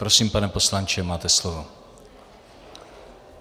Prosím, pane poslanče, máte slovo.